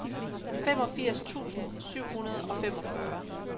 femogfirs tusind syv hundrede og femogfyrre